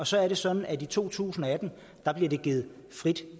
så er det sådan at i to tusind og atten bliver det givet frit